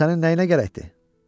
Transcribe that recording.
O sənə nəyinə gərəkdir?